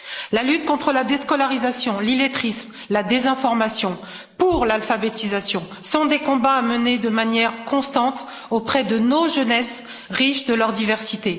La lutte contre la déscolarisation, l'illettrisme, la désinformation, pour l'alphabétisation, sont des combats à mener de manière constante auprès de nos jeunesses, riches de leur diversité.